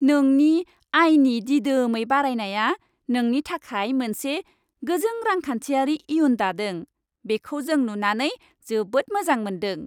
नोंनि आयनि दिदोमै बारायनाया नोंनि थाखाय मोनसे गोजों रांखान्थियारि इयुन दादों। बिखौ जों नुनानै जोबोद मोजां मोनदों।